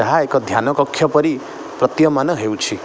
ଏହା ଏକ ଧ୍ୟାନକକ୍ଷ ପରି ପ୍ରତୀୟମାନ ହେଉଛି ।